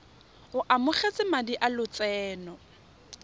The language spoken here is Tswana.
o amogetse madi a lotseno